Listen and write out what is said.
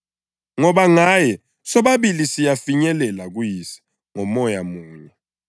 Ngoba ngaye sobabili siyafinyelela kuYise ngoMoya munye.